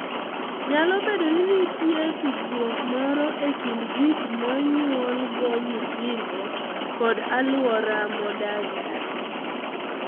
Nyalo bedo ni nitie tudruok moro e kind gik monyuolgo nyithindo kod alwora modakie.